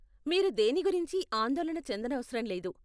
మీరు దేని గురించి ఆందోళన చెందనవసరంలేదు.